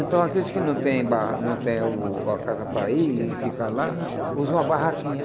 Então aqueles que não tem ba não tem o a casa para ir e ficar lá, usam a barraquinha.